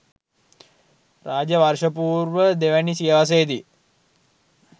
රාජ්‍ය වර්ෂ පූර්ව දෙවැනි සියවසේ දී